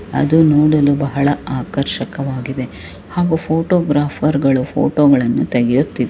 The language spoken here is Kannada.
ಅದು ನೋಡಲು ಬಹಳ ಆಕರ್ಷಕವಾಗಿದೆ ಹಾಗೆ ಫೋಟೋಗ್ರಾಫರಗಳು ಫೋಟೋಗ ಳಲ್ಲನು ತೆಗೆಯುತ್ತಿದ್ದಾರೆ .